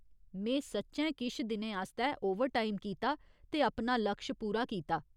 में सच्चैं किश दिनें आस्तै ओवरटाइम कीता ते अपना लक्श पूरा कीता।